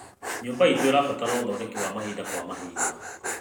Nyũmba iitũ ĩrabatara ũthondeki wa mahinda kwa mahinda.